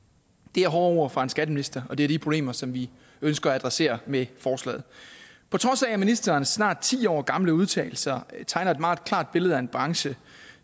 det er hårde ord fra en skatteminister og det er de problemer som vi ønsker at adressere med forslaget på trods af at ministerens snart ti år gamle udtalelser tegner et meget klart billede af en branche